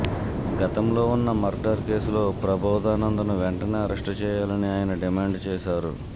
గతంలో ఉన్న మర్డర్ కేసులో ప్రభోదానందను వెంటనే అరెస్టు చేయాలని ఆయన డిమాండ్ చేశారు